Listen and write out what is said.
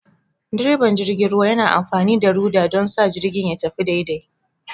direban jirgin ruwa yana amfani da rudder don sa jirgin ya tafi daidai.